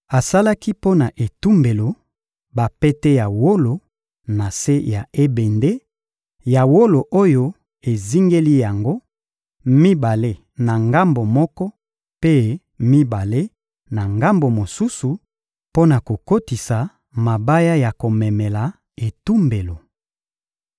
Asalaki mpo na etumbelo bapete ya wolo na se ya ebende ya wolo oyo ezingeli yango: mibale na ngambo moko, mpe mibale na ngambo mosusu; mpo na kokotisa mabaya ya komemela etumbelo.